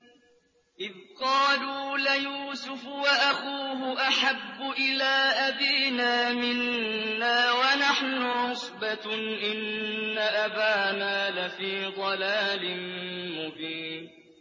إِذْ قَالُوا لَيُوسُفُ وَأَخُوهُ أَحَبُّ إِلَىٰ أَبِينَا مِنَّا وَنَحْنُ عُصْبَةٌ إِنَّ أَبَانَا لَفِي ضَلَالٍ مُّبِينٍ